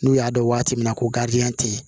N'u y'a dɔn waati min na ko garidiyɛn tɛ yen